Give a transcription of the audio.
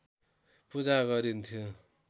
पूजा गरिन्थ्यो